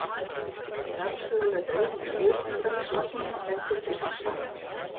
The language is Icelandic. Jarðsöguleg dreifing jökulbergslaganna bendir til hins sama.